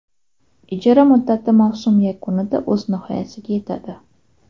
Ijara muddati mavsum yakunida o‘z nihoyasiga yetadi.